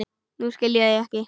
Nú skil ég þig ekki.